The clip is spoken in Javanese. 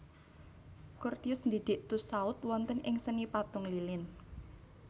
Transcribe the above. Curtius ndidik Tussaud wonten ing seni patung lilin